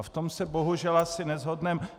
A v tom se, bohužel, asi neshodneme.